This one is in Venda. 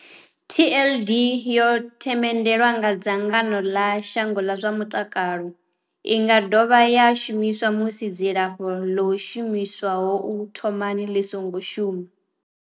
TLD Tenofovir disoproxil, Lamivudine and dolutegravir yo themendelwa nga dzangano ḽa shango ḽa zwa mutakalo. I nga dovha ya shumiswa musi dzilafho ḽo shumiswaho u thomani ḽi songo shuma.